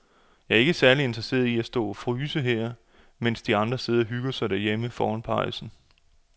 Jeg er ikke særlig interesseret i at stå og fryse her, mens de andre sidder og hygger sig derhjemme foran pejsen.